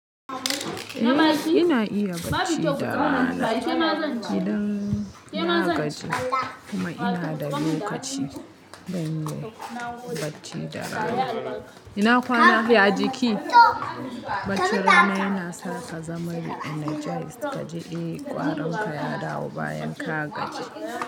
Ina iya bacci da rana idan na gaji kuma ina da lokaci don bacci da rana. Ina kwana yaji ki? Bacci rana yana sa ka zama re-energized kaji eh ƙwaronka ya dawo bayan ka gaji.